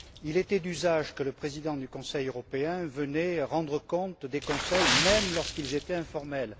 Il était d'usage que le Président du Conseil européen vienne rendre compte des Conseils, même lorsqu'ils étaient informels.